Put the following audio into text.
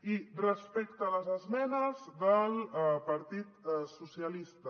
i respecte a les esmenes del partit socialista